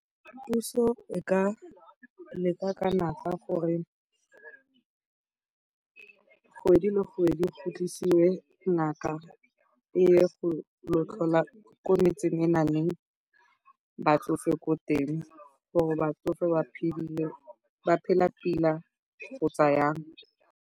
Puso e ka leka ka natla gore kgwedi le kgwedi go tlisiwe ngaka e ye go tlhola ko metseng e go nang le batsofe ko teng gore batsofe ba tshetse, ba tshela sentle kgotsa jang.